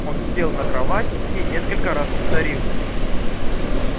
он сел на кровать и несколько раз повторил